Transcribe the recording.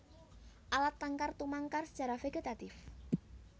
Alat tangkar tumangkar sacara vègetatif